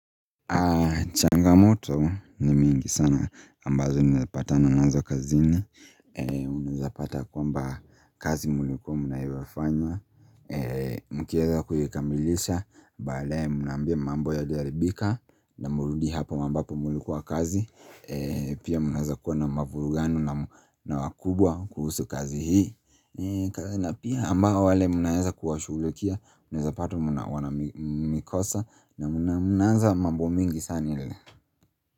Changamoto ni mingi sana ambazo nimepatana nazo kazini Unaezapata kwamba kazi mlikuwa mnaonafanya Mkieza kuikamilisha bale mnaambia mambo yalioharibika na mrudi hapo ambapo mlikuwa kazi Pia mnaeza kuwa na mavurugano na wakubwa kuhusu kazi hii na pia ambao wale mnaeza kuwashughulikia Unaeza pata wana mikosa na mnaanza mambo mingi sana ile.